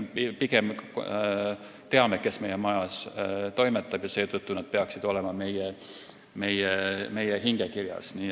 Meile on pigem oluline, et me teame, kes meie majas toimetab, seetõttu peaksid nad olema meie hingekirjas.